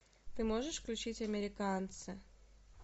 ты можешь включить американцы